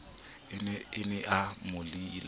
a ne a mo laile